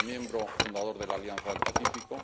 es miembro fundador de la Alianza del Pacífico